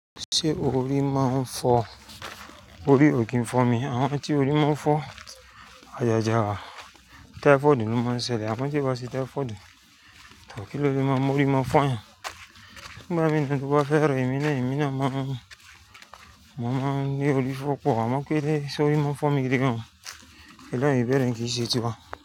Ṣé orí máa ń fọ́? Orí ò kí ń fọ́ mi. Àwọn tí orí máa ń fọ́, àyàjà wa. Tẹ́fọ́ọ̀dù ló máa ń ṣẹlẹ̀, tí o bá ṣẹ́ tẹ́fọ́ọ̀dù. Tọ, kí ló lé máa mú orí máa fọ́ yan? Nígbà mi náà tó bá fẹ́ rẹ, èmi náà, èmi náà máa ń, mo màá ń ni orí fifọ́ pọ̀, àmọ́ pé ṣo orí máa ń fọ́ mi gídígan. Lẹ́yìn ìbẹ̀rẹ̀ yìí kì í n ṣe tiwa.